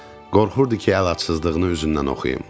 Qorxurdu ki, əlacısızlığını üzündən oxuyum.